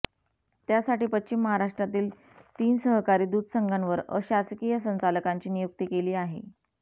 त्यासाठी पश्चिम महाराष्ट्रातील तीन सहकारी दूध संघांवर अशासकीय संचालकांची नियुक्ती केली आहे